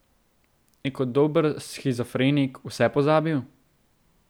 Je kot dober shizofrenik vse pozabil?